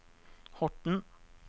Horten